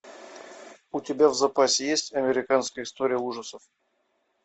у тебя в запасе есть американская история ужасов